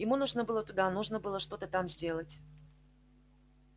ему нужно было туда нужно было что-то там сделать